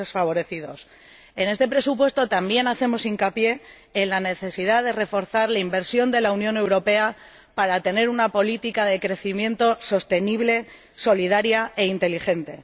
En este presupuesto también hacemos hincapié en la necesidad de reforzar la inversión de la Unión Europea para tener una política de crecimiento sostenible, solidaria e inteligente.